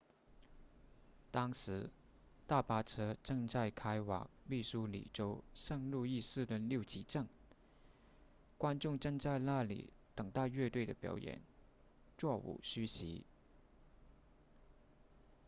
当时大巴车正在开往密苏里州圣路易市的六旗镇观众正在那里等待乐队的表演座无虚席